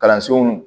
Kalansow